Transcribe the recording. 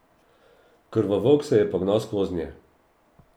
Krvovolk se je pognal skoznje.